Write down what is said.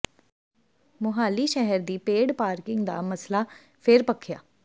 ਮੋਹਾਲੀ ਸ਼ਹਿਰ ਦੀ paid parking ਦਾ ਮਸਲਾ ਫਿਰ ਭਖਿਆ